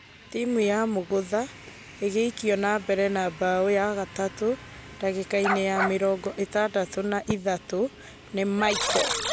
Timũ ya mugutha ĩgĩikio na mbere na bao ya gatatũ dagĩka-inĩ ya mĩrongo ĩtandatũ na ithathatu nĩ Michael.